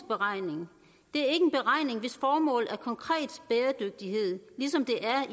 beregning hvis formål er konkret bæredygtighed ligesom det er